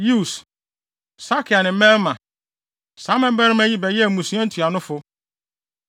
Yeus, Sakia ne Mirma. Saa mmabarima yi bɛyɛɛ mmusua ntuanofo.